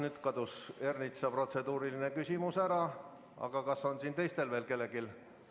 Nüüd kadus Ernitsa protseduuriline küsimus ära, aga kas on kellelgi teisel veel soovi?